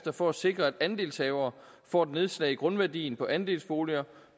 for at sikre at andelshavere får et nedslag i grundværdien på andelsboliger